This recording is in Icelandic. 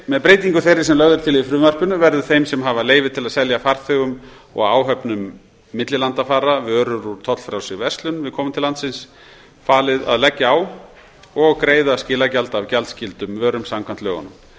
með breytingu þeirri sem lögð er til í frumvarpinu verður þeim sem hafa leyfi til að selja farþegum og áhöfnum millilandafara vörur úr tollfrjálsri verslun við komu til landsins falið að leggja á og greiða skilagjald af gjaldskyldum vörum samkvæmt lögunum